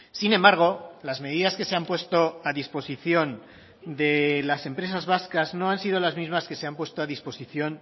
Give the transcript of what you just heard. sin embargo las medidas que se han puesto a disposición de las empresas vascas no han sido las mismas que se han puesto a disposición